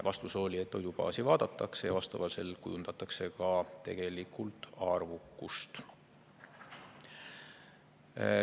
Vastus oli, et toidubaasi vaadatakse ja vastavalt sellele kujundatakse ka tegelikult arvukust.